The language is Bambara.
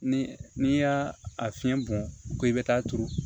Ni n'i y'a a fiɲɛ bɔn ko i be taa turu